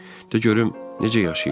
De görüm necə yaşayırlar?